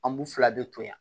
An b'u fila bɛ to yan